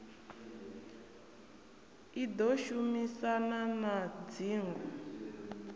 i ḓo shumisana na dzingo